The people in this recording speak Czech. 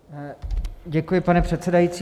Děkuji, pane předsedající.